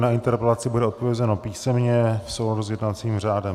Na interpelaci bude odpovězeno písemně v souladu s jednacím řádem.